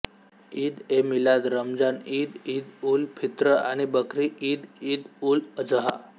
ईद ए मिलाद रमझान ईद ईद उल फित्र आणि बकरी ईद ईद उल अजहा